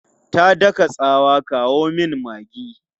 Ta daka tsawa, 'kawo min maggi!'